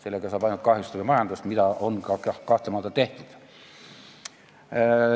Sellega saab ainult majandust kahjustada, mida on ka kahtlemata tehtud.